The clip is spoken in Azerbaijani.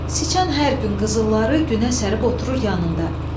Sıçan hər gün qızılları günə sərib oturur yanında.